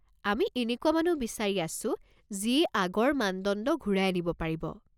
আমি এনেকুৱা মানুহ বিচাৰি আছো যিয়ে আগৰ মানদণ্ড ঘূৰাই আনিব পাৰিব।